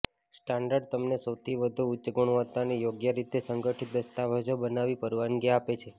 standard તમને સૌથી વધુ ઉચ્ચ ગુણવત્તા અને યોગ્ય રીતે સંગઠિત દસ્તાવેજો બનાવી પરવાનગી આપે છે